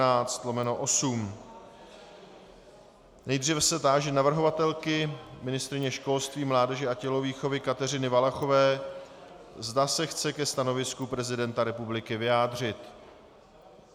Nejdříve se táži navrhovatelky ministryně školství, mládeže a tělovýchovy Kateřiny Valachové, zda se chce ke stanovisku prezidenta republiky vyjádřit.